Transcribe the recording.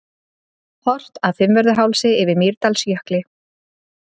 Horft af Fimmvörðuhálsi yfir að Mýrdalsjökli.